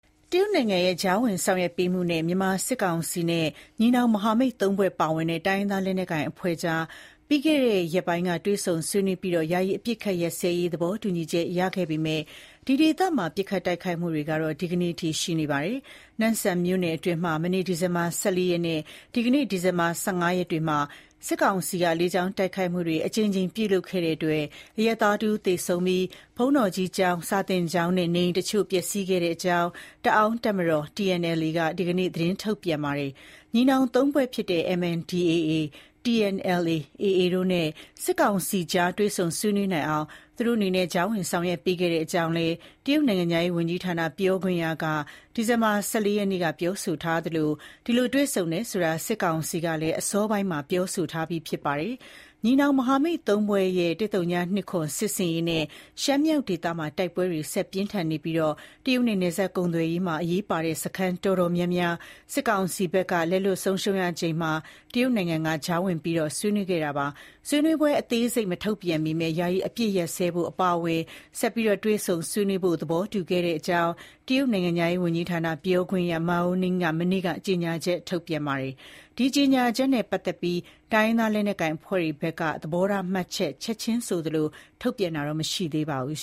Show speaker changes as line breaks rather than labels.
တရုတ်နိုင်ငံရဲ့ ကြားဝင်ဆောင်ရွက်ပေးမှုနဲ့ မြန်မာစစ်ကောင်စီနဲ့ ညီနောင်မဟာမိတ် သုံးဖွဲ့ပါဝင်တဲ့ တိုင်းရင်းသားလက်နက်ကိုင်အဖွဲ့တွေအကြား ပြီးခဲ့တဲ့ ရက်ပိုင်းက တွေ့ဆုံဆွေးနွေးပြီး ယာယီ အပစ်အခတ်ရပ်စဲရေး သဘောတူညီချက်ရရှိခဲ့ပေမယ့် ဒီဒေသမှာ ပစ်ခတ် တိုက်ခိုက်မှုတွေ ဒီကနေ့အထိ ရှိနေဆဲပါ။ နမ့်ဆန်မြို့နယ်အတွင်း မနေ့ ဒီဇင်ဘာ ၁၄ ရက်နဲ့ ဒီကနေ့ ဒီဇင်ဘာ ၁၅ ရက်တွေမှာ စစ်ကောင်စီက လေကြောင်းတိုက်ခိုက်မှုတွေ အကြိမ်ကြိမ် ပြုလုပ်ခဲ့တဲ့အတွက် အရပ်သားတဦးသေဆုံးပြီး ဘုန်းတော်ကြီးကျောင်း၊ စာသင်ကျောင်းနဲ့ နေအိမ်တချို့ ပျက်ဆီးခဲ့ကြောင်း တအာင်းတပ်မတော် TNLA က ဒီကနေ့ သတင်းထုတ်ပြန်ပါတယ်။ ညီနောင်သုံးဖွဲ့ဖြစ်တဲ့ MNDAA၊ TNLA၊ AA တို့နဲ့ စစ်ကောင်စီအကြား တွေ့ဆုံဆွေးနွေးနိုင်အောင် သူတို့အနေနဲ့ ကြားဝင် ဆောင်ရွက်ပေးခဲ့ကြောင်း တရုတ်နိုင်ငံခြားရေး ဝန်ကြီးဌာနက ပြောခွင့်ရက မနေ့ ဒီဇင်ဘာ ၁၄ ရက်နေ့က ပြောဆိုထားသလို အဲဒီလို တွေ့ဆုံခဲ့တယ်ဆိုတာကို စစ်ကောင်စီကလည်း အစောပိုင်းမှာ ပြောဆိုထားပြီး ဖြစ်ပါတယ်။ ညီနောင်မဟာမိတ် ၃ ဖွဲ့ရဲ့ ၁၀၂၇ စစ်ဆင်ရေးနဲ့ ရှမ်းမြောက်ဒေသမှာ တိုက်ပွဲတွေ ဆက်လက် ပြင်းထန်နေပြီး တရုတ်နဲ့ နယ်စပ်ကုန်သွယ်ရေးမှာ အရေးပါတဲ့ စခန်းတွေ တော်တော်များများ စစ်ကောင်စီဘက်က လက်လွှတ်ဆုံးရှုံးရချိန်မှာ တရုတ်နိုင်ငံက ကြားဝင်ပြီး တွေ့ဆုံဆွေးနွေးခဲ့တာပါ။ ဆွေးနွေးပွဲအသေးစိတ်ကို မထုတ်ပြန်ပေမဲ့ ယာယီအပစ်အခတ်ရပ်စဲဖို့ အပါအဝင် ဆက်လက် တွေ့ဆုံဆွေးနွေးဖို့ သဘောတူခဲ့တဲ့အကြောင်း တရုတ်နိုင်ငံခြားရေးဝန်ကြီးဌာန ပြောခွင့်ရ Mao Ning က မနေ့က ကြေညာချက် ထုတ်ပြန်ပါတယ်။ ဒီကြေညာချက်နဲ့ ပတ်သက်လို့ တိုင်းရင်းသားလက်နက်ကိုင်အဖွဲ့တွေဘက်က သဘောထားမှတ်ချက် ချက်ခြင်းဆိုသလို ထုတ်ပြန်တာတော့ မရှိသေးပါဘူး